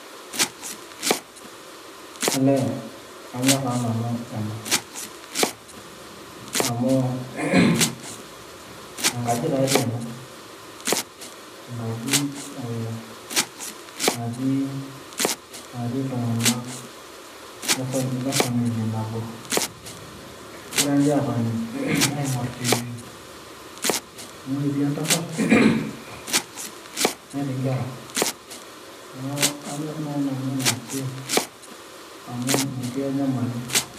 Olee, kanyor taa nanu ena. Amuu, enkaji ta dii ena. Enkaji eh natii natii iltung'anak le family nabo. Egira nche atoni aing'or TV. Amu etii entasat, netii nkera. Neeku kanyor nai nanu ena pi, amu metii enyamali.